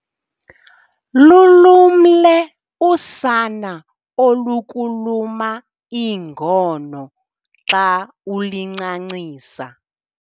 Lulumle usana olukuluma iingono xa uluncancisa.